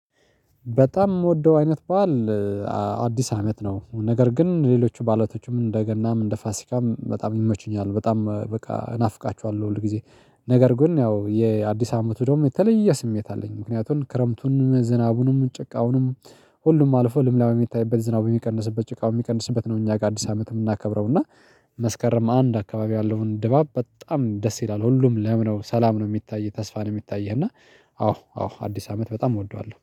በጣም የምወደው አይነት በዓል አዲስ አመት ነው። ነገር ግን ሌሎቹ ባዕላቶቹም እንደ ገናም እንደ ፋሲካም በጣም ሚመቹኝ አሉ። በጣም በቃ ናፍቃችኋለሁ ሁል ጊዜ። ነገር ግን ያው የአዲስ አመት ደግሞ የተለየ ስሜት አለኝ ምክንያቱን ክረምቱን ዝናቡንም ጭቃውንም ሁሉም አልፎ ልምላሜ የሚታይበት ዝናቡ የሚቀንስበት ጭቃው የሚቀንስበት ነው። እኛ ጋር አዲስ አመት የምናከብረው እና። መስከረም አንድ አካባቢ ያለውን ድባብ በጣም ደስ ይላል። ሁሉም ለምነው ሰላም ነው የሚታይህ ተስፋ ነው የሚታይህ እና። አዎ አዎ አዲስ አመት በጣም እወደዋለሁ